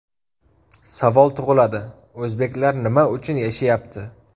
Savol tug‘iladi o‘zbeklar nima uchun yashayapti?